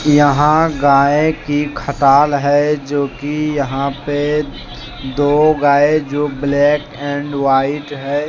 यहां गाएं कि खटाल है जो कि यहां पे दो गाए जो ब्लैक एंड व्हाइट है।